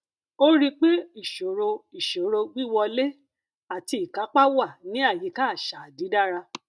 ó rí pé ìṣòro ìṣòro wíwọlé àti ìkápá wà ní àyíká àṣà dídára